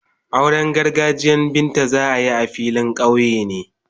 Auren gargajiyan Binta za a yi a filin kauye ne.